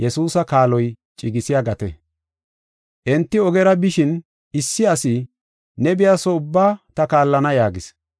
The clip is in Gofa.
Enti ogera bishin, issi asi, “Ne biya soo ubba ta kaallana” yaagis.